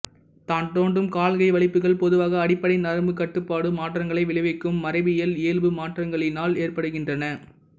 தான் தோன்றும் கால்கை வலிப்புகள் பொதுவாக அடிப்படை நரம்புக் கட்டுப்பாடு மாற்றங்களை விளைவிக்கும் மரபியில் இயல்பு மாற்றங்களிலினால் ஏற்படுகின்றன